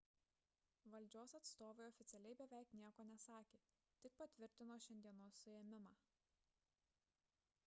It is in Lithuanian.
valdžios atstovai oficialiai beveik nieko nesakė tik patvirtino šiandienos suėmimą